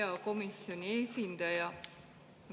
Hea komisjoni esindaja!